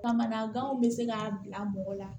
Kamanaganw bɛ se k'a bila mɔgɔ la